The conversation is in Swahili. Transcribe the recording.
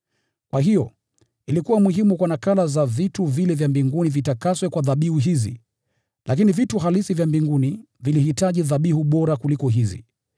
Kwa hiyo, ilikuwa muhimu kwa nakala za vitu vile vya mbinguni vitakaswe kwa dhabihu hizi, lakini vitu halisi vya mbinguni vilihitaji dhabihu bora kuliko hizi.